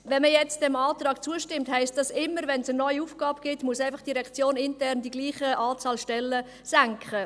Stimmt man diesem Antrag jetzt zu, heisst dies: Immer wenn es eine neue Aufgabe gibt, muss die Direktion intern dieselbe Anzahl Stellen streichen.